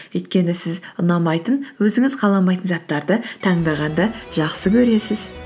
өйткені сіз ұнамайтын өзіңіз қаламайтын заттарды таңдағанды жақсы көресіз